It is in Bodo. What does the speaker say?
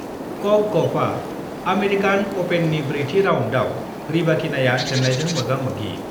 कक गफआ आमेरिकान अपेननि ब्रैथि राउन्डआव, रिबाकिनाआ जेन्नायजों मोगा-मोगि